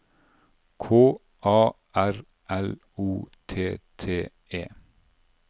K A R L O T T E